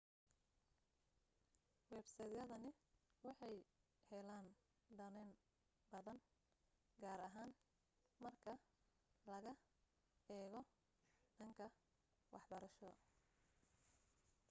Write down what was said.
websaydadani waxay heleen danayn badan gaar ahaan marka laga eego dhanka waxbarasho